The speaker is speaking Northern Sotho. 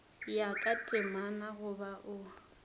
ya ka temana goba o